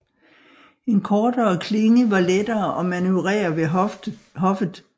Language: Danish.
En kortere klinge var lettere at manøvrere ved hoffet